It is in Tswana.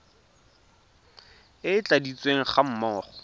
e e tladitsweng ga mmogo